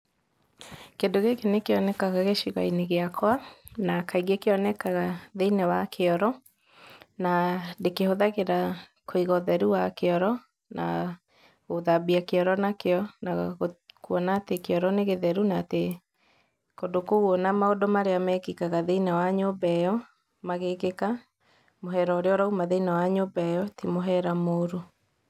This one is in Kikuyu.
Kĩndũ gĩkĩ nĩ kĩonekaga gĩcigo-inĩ gĩakwa, na kaingĩ kĩonekaga thĩinĩ wa kĩoro, na ndĩkĩhũthagĩra kũiga ũteru wa kĩoro, na gũthambia kĩoro nakĩo, na kuona atĩ kĩoro nĩ gĩtheru na atĩ kũndũ kũu ona maũndũ marĩa mekĩkaga thĩinĩ wa nyũmba ĩyo, magĩkĩka, mũhera ũrĩa ũrauma thĩinĩ wa nyũmba ĩyo, ti mũhera mũru.